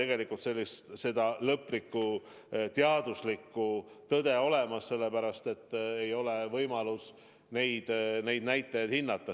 Meil ei ole lõplikku teaduslikku tõde olemas, sellepärast et ei ole olnud võimalik neid näitajaid selgitada.